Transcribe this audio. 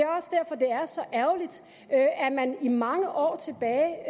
er så ærgerligt at man i mange år tilbage